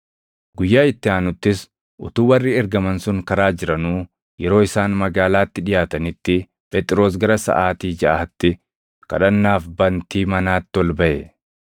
Guyyaa itti aanuttis utuu warri ergaman sun karaa jiranuu, yeroo isaan magaalaatti dhiʼaatanitti Phexros gara saʼaatii jaʼaatti kadhannaaf bantii manaatti ol baʼe.